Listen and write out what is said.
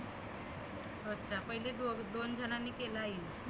हो का पहिले दो दोन झनांनी केलं आहे.